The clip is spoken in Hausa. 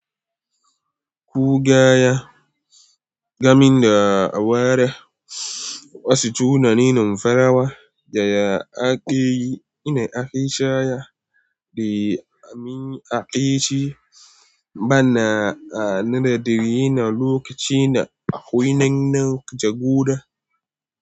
Kugaya, gamin da awara, wasu tunanin farawa da ya akeyi, ina ake shaya da amin akeyi ba na a na da riyi na lokaci na a wainin na jagora.